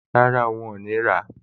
Rárá, wọn ò ní rà á